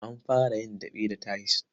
An fara yin daɓe da tayils.